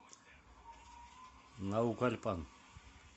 наукальпан